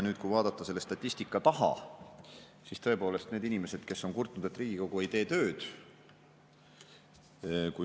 Kui vaadata selle statistika taha, siis tõepoolest need inimesed, kes on kurtnud, et Riigikogu ei tee tööd …